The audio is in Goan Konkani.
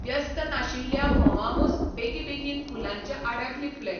व्यस्त नाशिल्ल्या म्होंवामूस बेगबेगीन फुलांच्या आड्याक लिपले.